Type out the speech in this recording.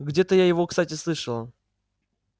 где-то я его кстати слышала